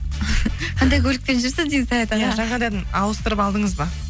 қандай көлікпен жүрсіз деймін саят аға иә жаңадан ауыстырып алдыңыз ба